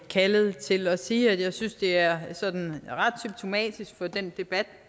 kaldet til at sige at jeg synes det er sådan ret symptomatisk for den debat